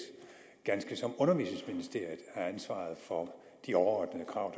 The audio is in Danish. ganske som undervisningsministeriet har ansvaret for de overordnede krav